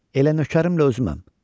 Elə nökərimlə özüməm.